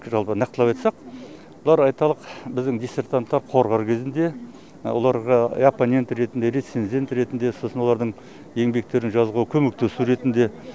жалпы нақтылап айтсақ бұлар айталық біздің дисертанттар қорғар кезінде оларға я аппонент ретінде рецензент ретінде сосын олардың еңбектерін жазуға көмектесу ретінде